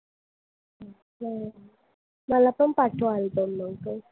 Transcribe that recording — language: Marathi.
हम्म मला पण पाठव album लवकर.